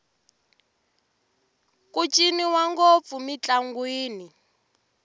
ku ciniwa ngopfu mintlangwini